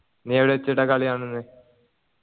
നീ എവിടെ വച്ചിട്ടാ കളി കാണുന്നെ